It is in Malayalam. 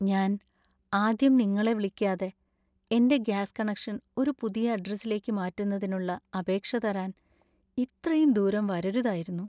ഞാൻ ആദ്യം നിങ്ങളെ വിളിക്കാതെ എന്‍റെ ഗ്യാസ് കണക്ഷൻ ഒരു പുതിയ അഡ്രസിലേക്ക് മാറ്റുന്നതിനുള്ള അപേക്ഷ തരാൻ ഇത്രയും ദൂരം വരരുതായിരുന്നു.